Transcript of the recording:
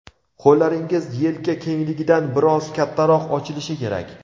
Qo‘llaringiz yelka kengligidan biroz kattaroq ochilishi kerak.